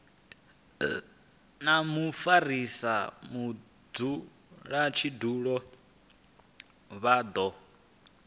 na mufarisa mudzulatshidulo vha do